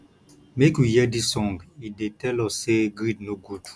make we hear dis song e dey tell us sey greed no good